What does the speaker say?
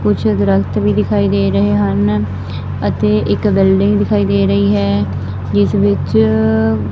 ਕੁਝ ਦਰਖਤ ਵੀ ਦਿਖਾਈ ਦੇ ਰਹੇ ਹਨ ਅਤੇ ਇੱਕ ਬਿਲਡਿੰਗ ਦਿਖਾਈ ਦੇ ਰਹੀ ਹੈ ਜਿਸ ਵਿੱਚ--